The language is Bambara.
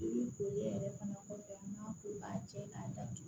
Ko e yɛrɛ fana kɔfɛ n'a ko k'a jɛ k'a datugu